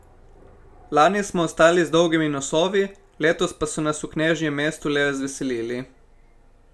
Lani smo ostali z dolgimi nosovi, letos pa so nas v knežjem mestu le razveselili.